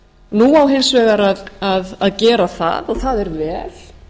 nú á hins vegar að gera það og það er vel